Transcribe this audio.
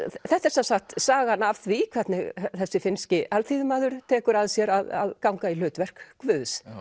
þetta er sem sagt sagan af því hvernig þessi finnski alþýðumaður tekur að sér að ganga í hlutverk Guðs